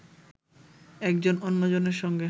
একজন অন্যজনের সঙ্গে